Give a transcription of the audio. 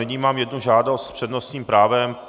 Nyní mám jednu žádost s přednostním právem.